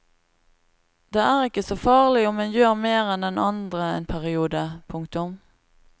Det er ikke så farlig om en gjør mer enn den andre en periode. punktum